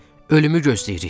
Ölümü gözləyirik.